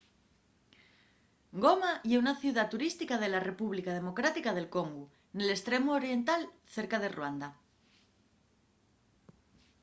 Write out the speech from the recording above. goma ye una ciudá turística de la república democrática d’el congu nel estremu oriental cerca de ruanda